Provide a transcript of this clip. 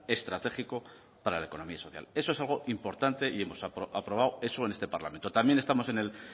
estratégico para la economía social eso es algo importante y hemos aprobado eso en este parlamento también estamos en el